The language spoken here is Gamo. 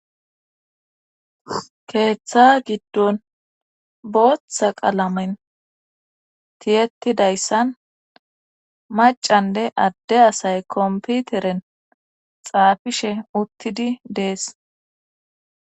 Keeththa giddon booththa qalamen tiyettidayssan macanne adde asay komputeren xaafishe uttidi dees